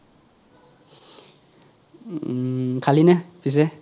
হুম খালি নে পিচে